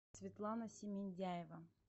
светлана семендяева